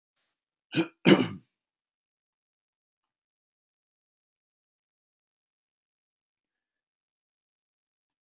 Konur þeirra stungu sér líka fram af bryggjunni en voru sýnu bústnari.